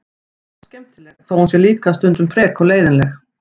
Anna er oft skemmtileg þó að hún sé líka stundum frek og leiðinleg.